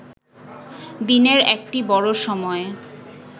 দিনের একটি বড় সময়